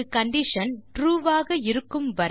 ஒரு condition true ஆக இருக்கும் வரை